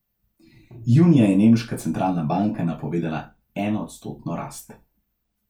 Junija je nemška centralna banka napovedovala enoodstotno rast.